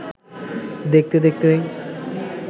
দেখতে-দেখতে